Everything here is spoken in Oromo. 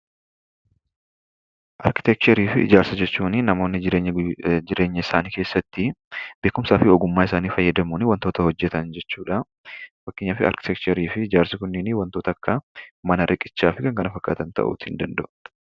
Arkiteekcherii fi Ijaarsa jechuun namoonni jireenya isaanii keessatti beekumsaa fi ogummaa isaanii fayyadamuun wantoota hojjetan jechuudha. Fakeenyaaf arkiteekcherii fi Ijaarsi kunniin wantoota akka manaa, riqichaa fi wantoota kana fakkaatan ta'uu ni danda'u.